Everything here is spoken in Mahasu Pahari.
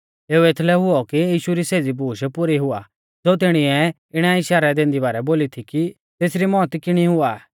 एऊ एथलै हुऔ की यीशु री सेज़ी बूश पुरी हुआ ज़ो तिणीऐ इणै इशारै दैंदी बारै बोली थी की तेसरी मौत किणी हुआ